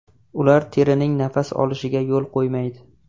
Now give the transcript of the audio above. Ular terining nafas olishiga yo‘l qo‘ymaydi.